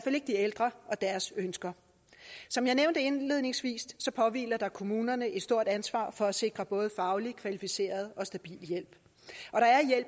ikke de ældre og deres ønsker som jeg nævnte indledningsvis påhviler der kommunerne et stort ansvar for at sikre både faglig kvalificeret og stabil hjælp